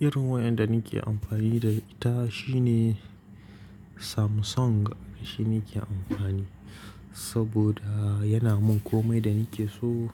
Irin wayar da nake amfani da ita shine Samsung shine nake amfani saboda yana min komai da nake so.